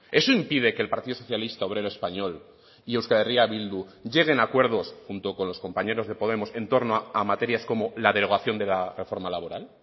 eso impide que el partido socialista obrero español y euskal herria bildu lleguen a acuerdos junto con los compañeros de podemos en torno a materias como la derogación de la reforma laboral